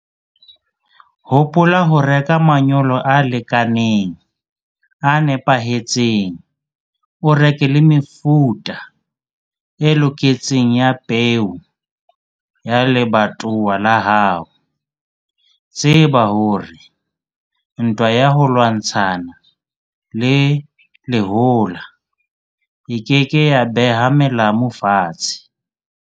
Hopola ho reka manyolo a lekaneng, a nepahetseng. O reke le mefuta e loketseng ya peo ya lebatowa la hao. Tseba hore ntwa ya ho lwantshana le lehola e ke ke ya beha melamu fatshe.